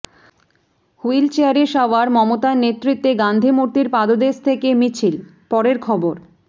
হুইলচেয়ারে সওয়ার মমতার নেতৃত্বে গান্ধী মূর্তির পাদদেশ থেকে মিছিল পরের খবর